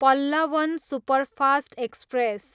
Pallavan superfast express